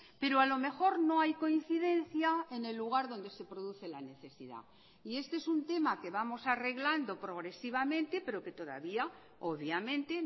pero a lo mejor no hay coincidencia en el lugar donde se produce la necesidad y este es un tema que vamos arreglando progresivamente pero que todavía obviamente